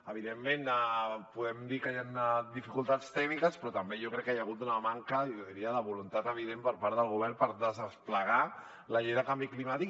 evidentment podem dir que hi han dificultats tècniques però també jo crec que hi ha hagut una manca jo diria de voluntat evident per part del govern per desplegar la llei del canvi climàtic